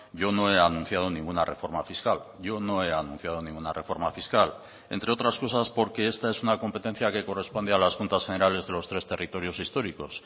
yo no he anunciado ninguna reforma fiscal yo no he anunciado ninguna reforma fiscal entre otras cosas porque esta es una competencia que corresponde a las juntas generales de los tres territorios históricos